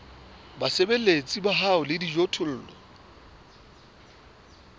basebeletsi ba hao le dijothollo